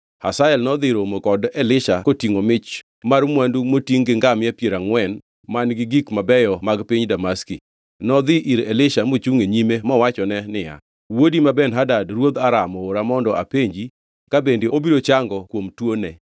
Hazael nodhi romo kod Elisha kotingʼo mich mar mwandu motingʼ gi ngamia piero angʼwen ma gin gik mabeyo mag piny Damaski. Nodhi ir Elisha mochungʼ e nyime mowachone niya, “Wuodi ma Ben-Hadad ruodh Aram oora mondo apenji ka bende obiro chango kuom tuoni.”